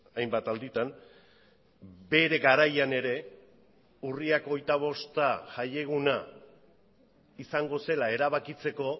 hainbat alditan bere garaian ere urriak hogeita bosta jaieguna izango zela erabakitzeko